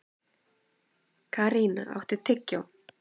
Karína, áttu tyggjó?